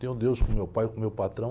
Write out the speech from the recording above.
Tenho Deus como meu pai, como meu patrão.